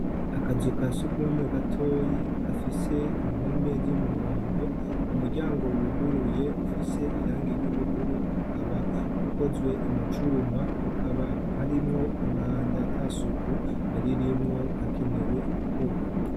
Akazu ka sugumwe gatoyi gafise impome z'umuhondo, umuryango wuguruye ufise irangi ry'ubururu ukaba ukozwe mu cuma, hakaba harimwo umwanda ata suku ririmwo hakenewe gukorwa.